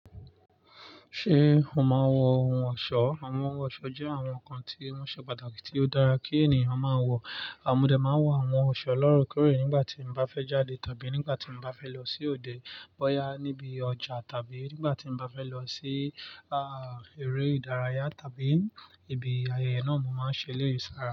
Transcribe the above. Ṣé o máa ń wọ ohun ọ̀ṣọ́? Àwọn ohun ọ̀ṣọ́ jẹ́ àwọn nǹkan tí wọ́n ṣe pàtàkì tí ó dára kí ènìyàn máa wọ̀. Mọ́dẹ máa ń wọ àwọn ọ̀ṣọ́ ọlọ́rọ̀kérè nígbà tí n bá fẹ́ jáde tàbí nígbà tí n bá fẹ́ lọ sí òde, bọ́yá níbi ọjà tàbí nígbà tí n bá fẹ́ lọ sí, eré ìdárayá tàbí ibi ayẹyẹ náà, mo máa ń ṣe lẹ́yìsára.